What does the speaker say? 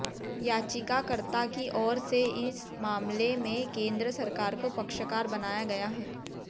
याचिकाकर्ता की ओर से इस मामले में केन्द्र सरकार को पक्षकार बनाया गया है